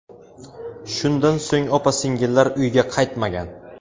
Shundan so‘ng opa-singillar uyga qaytmagan.